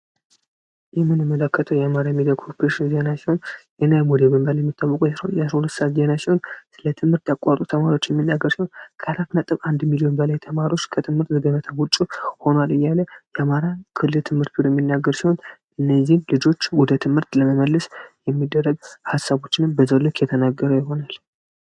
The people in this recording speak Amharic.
የምንመለከተው የአማራ ሚዲያ ኮፕረሽን የዜና ሰዓት ሲሆን ስለ ትምህርት ተቋሩ ተማሪዎች የምናገረው ካላት.1 ሚሊዮን በላይ የተማሪዎች የአማራ ክልል ትምህርት እነዚህ ልጆች ወደ ትምህርት ለመመልስ የሚደረግ ሃሳቦችንም የተነገረ ይሆነል።